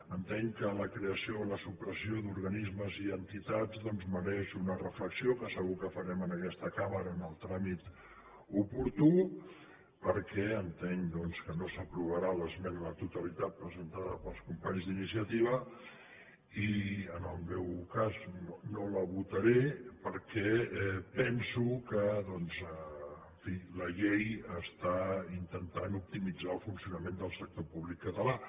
entenc que la creació o la supressió d’organismes i entitats doncs mereix una reflexió que segur que farem en aquesta cambra en el tràmit oportú perquè entenc que no s’aprovarà l’esmena a la totalitat presentada pels companys d’iniciativa i en el meu cas no la votaré perquè penso que en fi la llei està intentant optimitzar el funcionament del sector públic català